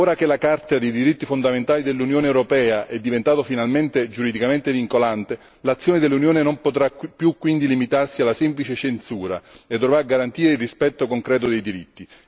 Ora che la Carta dei diritti fondamentali dell'Unione europea è diventata finalmente giuridicamente vincolante, l'azione dell'Unione non potrà quindi più limitarsi alla semplice censura e dovrà garantire il rispetto concreto dei diritti.